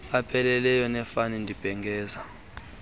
apheleleyo nefani ndibhengeza